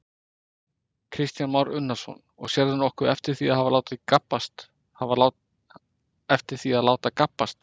Kristján Már Unnarsson: Og sérðu nokkuð eftir því að láta gabbast?